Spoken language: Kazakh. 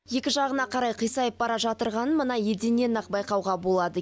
екі жағына қарай қисайып бара жатырғанын мына еденнен ақ байқауға болады